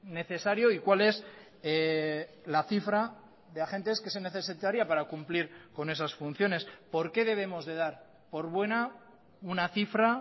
necesario y cuál es la cifra de agentes que se necesitaría para cumplir con esas funciones por qué debemos de dar por buena una cifra